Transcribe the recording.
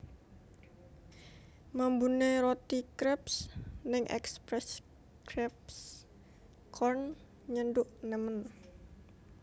Mambune roti kreps ning Express Crepes Corn nyenduk nemen